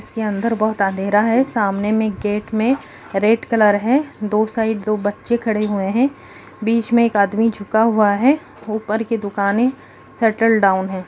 इसके अंदर बहुत अंधेरा है सामने में गेट में रेड कलर है दो साइड दो बच्चे खड़े हुए है बीच मे एक आदमी झुका हुआ है ऊपर की दुकाने सेटल डाउन है।